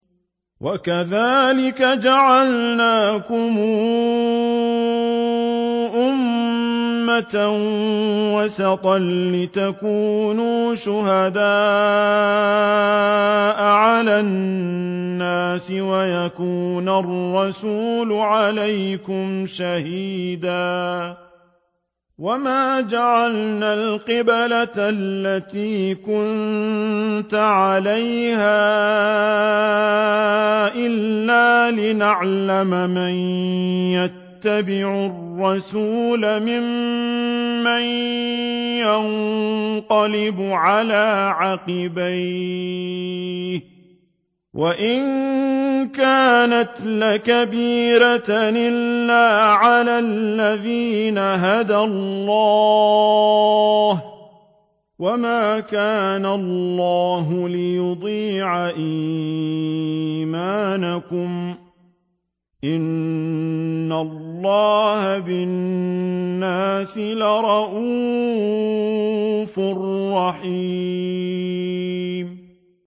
وَكَذَٰلِكَ جَعَلْنَاكُمْ أُمَّةً وَسَطًا لِّتَكُونُوا شُهَدَاءَ عَلَى النَّاسِ وَيَكُونَ الرَّسُولُ عَلَيْكُمْ شَهِيدًا ۗ وَمَا جَعَلْنَا الْقِبْلَةَ الَّتِي كُنتَ عَلَيْهَا إِلَّا لِنَعْلَمَ مَن يَتَّبِعُ الرَّسُولَ مِمَّن يَنقَلِبُ عَلَىٰ عَقِبَيْهِ ۚ وَإِن كَانَتْ لَكَبِيرَةً إِلَّا عَلَى الَّذِينَ هَدَى اللَّهُ ۗ وَمَا كَانَ اللَّهُ لِيُضِيعَ إِيمَانَكُمْ ۚ إِنَّ اللَّهَ بِالنَّاسِ لَرَءُوفٌ رَّحِيمٌ